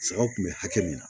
Sagaw kun bɛ hakɛ min na